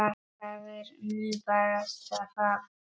Það er nú barasta það.